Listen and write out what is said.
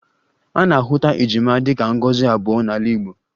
A na-ahụta ejima dịka ngọzi abụọ n'ala Igbo